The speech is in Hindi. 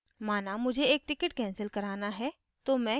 माना मुझे एक ticket cancel कराना है तो मैं क्या करती हूँ